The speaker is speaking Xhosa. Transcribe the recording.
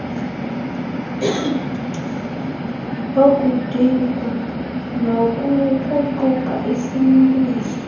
wokudikwa nokukruquka isimntwiso